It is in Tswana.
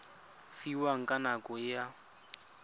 fiwang ka nako e a